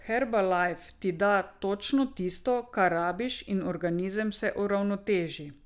Herbalife ti da točno tisto, kar rabiš, in organizem se uravnoteži.